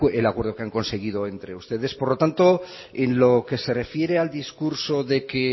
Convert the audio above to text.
el acuerdo que han conseguido entre ustedes por lo tanto en lo que se refiere al discurso de que